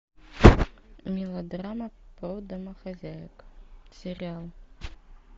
мелодрама про домохозяек сериал